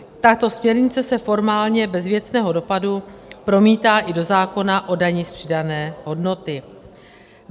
Tato směrnice se formálně bez věcného dopadu promítá i do zákona o dani z přidané hodnoty.